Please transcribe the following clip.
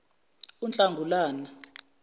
unahlangulana